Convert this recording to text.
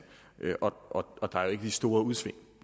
og der er ikke de store udsving